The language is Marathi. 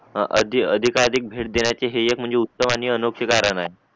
अधिक अधिक भेट देण्याची हे एक म्हणजे उत्तम आणि अनोख्या कारण आहे